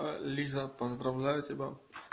аа лиза поздравляю тебя